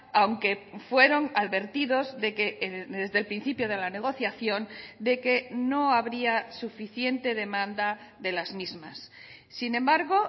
aunque fueron advertidos desde el principio de la negociación de que no habría suficiente demanda de las mismas sin embargo